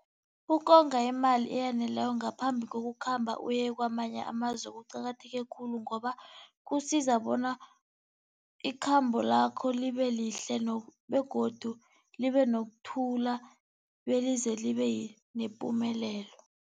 Ukonga imali eyaneleko ngaphambi kokukhamba uye kwamanye amazwe kuqakatheke khulu ngoba kusiza bona ikhambo lakho libelihle begodu libenokuthula belize libe nepumelelo.